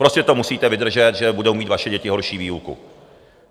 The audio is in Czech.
Prostě to musíte vydržet, že budou mít vaše děti horší výuku.